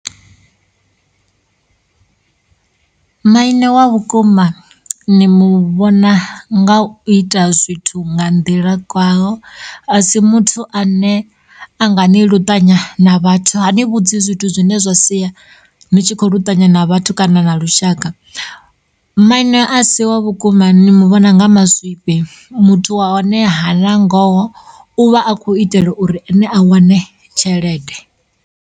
Maine wa vhukuma ni muvhona nga u ita zwithu nga nḓila kwaho, a si muthu ane a nga ni luṱanya na vhathu. Hani vhudzi zwithu zwine zwa sia ni tshi kho luṱanya na vhathu kana na lushaka. Maine a si wa vhukuma ni muvhona nga mazwifhi muthu wa hone hana ngoho u vha a khou itela uri ene a wane tshelede.